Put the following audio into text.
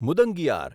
મુદંગિયાર